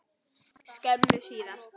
skömmu síðar.